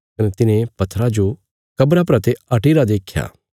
कने तिन्हे पत्थरा जो कब्रा परा ते हटिरा देख्या